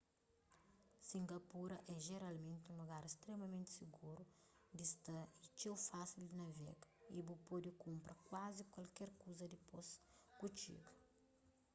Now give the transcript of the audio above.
singapura é jeralmenti un lugar stremamenti siguru di sta y txeu fásil di navega y bu pode kunpra kuazi kualker kuza dipôs ku txiga